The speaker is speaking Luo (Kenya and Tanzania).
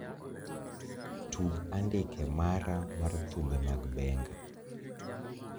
Tug andike mara mar thumbe mag benga